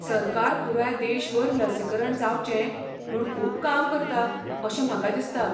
सरकार पुराय देशभर लसीकरण जावचें म्हूण खूब काम करता अशें म्हाका दिसता.